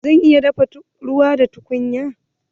Zan iya dafa ruwa da tukunya?